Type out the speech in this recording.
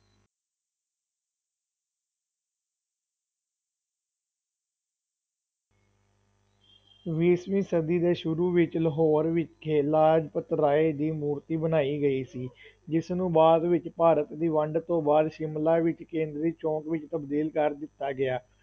ਵੀਸਵੀਂ ਸਦੀ ਦੇ ਸ਼ੁਰੂ ਵਿੱਚ ਲਾਹੌਰ ਵਿਖੇ ਲਾਜਪਤ ਰਾਏ ਦੀ ਮੂਰਤੀ ਬਣਾਈ ਗਈ ਸੀ ਜਿਸ ਨੂੰ ਬਾਅਦ ਵਿੱਚ ਭਾਰਤ ਦੀ ਵੰਡ ਤੋਂ ਬਾਅਦ ਸ਼ਿਮਲਾ ਵਿੱਚ ਕੇਂਦਰੀ ਚੌਕ ਵਿੱਚ ਤਬਦੀਲ ਕਰ ਦਿੱਤਾ ਗਿਆ।